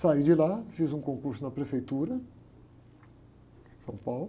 Saí de lá, fiz um concurso na prefeitura de São Paulo.